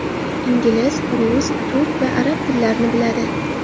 Ingliz, rus, turk va arab tillarini biladi.